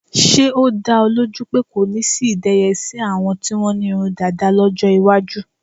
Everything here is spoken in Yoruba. Ṣé́ ó dá ọ lójú pé kò ní sí ìdẹyẹsí àwọn tí wọ́n ní irun dàda lọ́jọ́ iwájú.